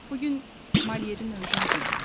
Bu gün Malyerin öldüyü gündür.